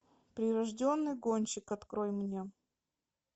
прирожденный гонщик открой мне